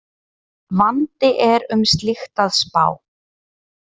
Vandi er um slíkt að spá